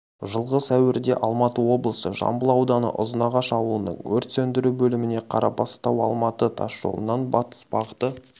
жылғы сәуірде алматы облысы жамбыл ауданы ұзынағаш аулының өрт сөндіру бөліміне қарабастау-алматы тас жолынан батыс бағыты